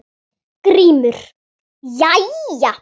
GRÍMUR: Jæja!